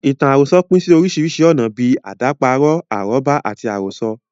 Ìtàn àròsọ pín sí ọ̀nà oríṣiríṣi bíi; àdàparo, arọ́bá, àti àròsọ.